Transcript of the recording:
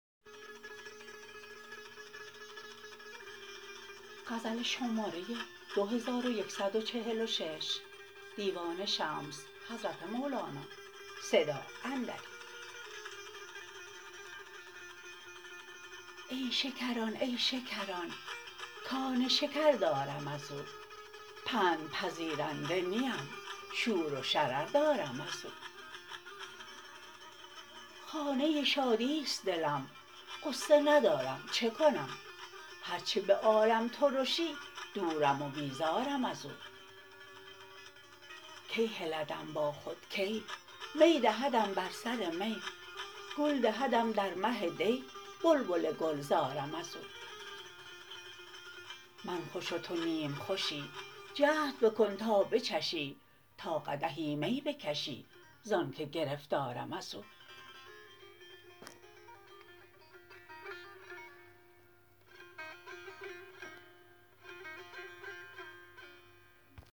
ای شکران ای شکران کان شکر دارم از او پندپذیرنده نیم شور و شرر دارم از او خانه شادی است دلم غصه ندارم چه کنم هر چه به عالم ترشی دورم و بیزارم از او کی هلدم با خود کی می دهدم بر سر می گل دهدم در مه دی بلبل گلزارم از او من خوش و تو نیم خوشی جهد بکن تا بچشی تا قدحی می بکشی ز آنک گرفتارم از او